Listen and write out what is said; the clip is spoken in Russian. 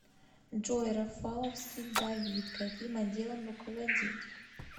джой рафаловский давид каким отделом руководит